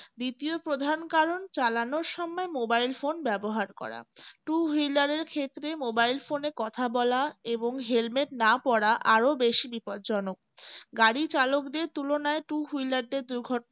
দ্বিতীয় প্রধান কারণ চালানোর সময় mobile phone ব্যবহার করা two wheeler এর ক্ষেত্রে mobile phone এ কথা বলা এবং helmet না পড়া আরো বেশি বিপজ্জনক গাড়ি চালকদের তুলনায় two wheeler দের দুর্ঘটনায়